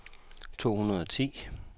to hundrede og ti